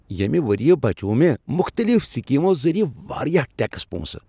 ییٚمہ ؤرۍ یہٕ بچوو مےٚ مختلف سکیمو ذریعہٕ واریاہ ٹیکس پونٛسہٕ ۔